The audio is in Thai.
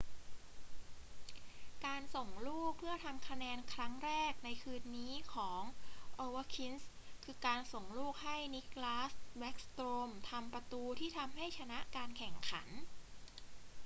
การส่งลูกเพื่อทำคะแนนครั้งแรกในคืนนี้ของ ovechkin คือ การส่งลูกให้ nicklas backstrom ทำประตูที่ทำให้ชนะการแข่งขัน